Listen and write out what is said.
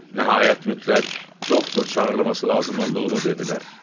Nəhayət mütləq doktor çağırılması lazım olduğunu dedilər.